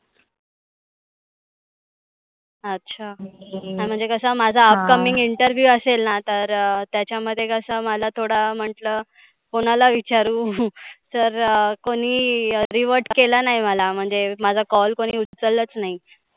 अच्छा. नाही म्हणजे कसा upcoming interview असेल ना तर त्याच्या मध्ये कसं मला थोड म्हटलं कोणाला विचारु तर कोणी revert केला नाही मला, म्हणजे माझा call कोणी उच्चलत नाही.